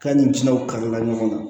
K'a ni sinanw kari la ɲɔgɔn na